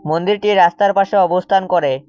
মন্দিরটি রাস্তার পাশে অবস্থান করে।